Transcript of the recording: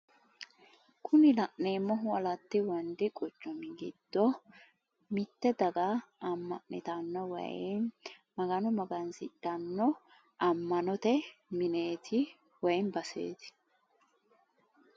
Kuni la'neemmohu alatti wondi quchumi giddo mitte daga amma'nitanno woyimmi magano magansidhanno ammanote mineeti woyi baseeti.